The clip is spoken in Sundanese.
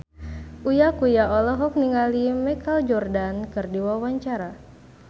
Uya Kuya olohok ningali Michael Jordan keur diwawancara